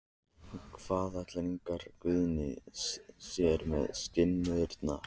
En hvað ætlar Ingvar Guðni sér með skinnurnar?